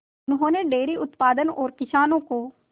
उन्होंने डेयरी उत्पादन और किसानों को